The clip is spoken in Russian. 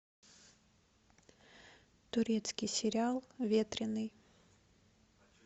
турецкий сериал ветреный